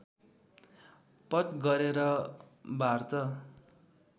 पट गरेर बार्ट